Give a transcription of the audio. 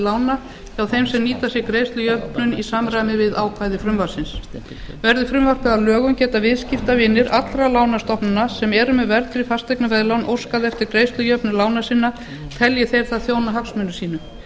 lána hjá þeim sem nýta sér greiðslujöfnun í samræmi við ákvæði frumvarpsins verði frumvarpið að lögum geta viðskiptavinir allra lánastofnana sem eru með verðtryggð fasteignaveðlán óskað eftir greiðslujöfnun lána sinna telji þeir það þjóna hagsmunum sínum